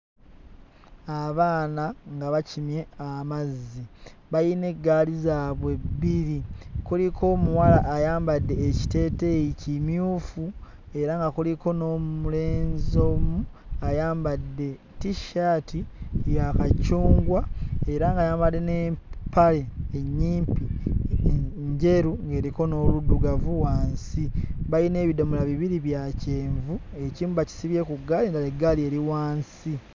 Abaana nga bakimye amazzi, bayina eggaali zaabwe bbiri. Kuliko omuwala ayambadde ekiteeteeyi kimyufu era nga kuliko n'omulenzi omu ayambadde tissaati ya kacungwa era ng'ayambadde n'empale ennyimpi, njeru eriko ng'eriko n'obuddugavu wansi. Balina ebidomola bibiri bya kyenvu, ekimu bakisibye ku ggaali, ng'eggali eri wansi.